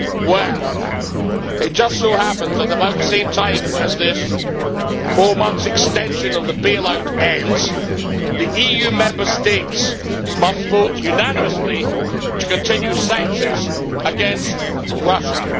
Well, it just so happens that, about the same time as this four months' extension of the bailout ends, the EU Member States must vote unanimously to continue sanctions against Russia.